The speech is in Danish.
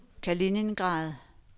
Kaliningrad